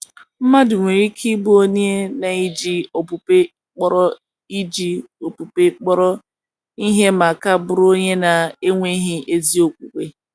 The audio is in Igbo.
Mmadụ nwere ike ibụ onye na iji okpukpe kpọrọ iji okpukpe kpọrọ ihe ma ka bụrụ onye na - enweghị ezi okwukwe.